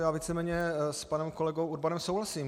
Já víceméně s panem kolegou Urbanem souhlasím.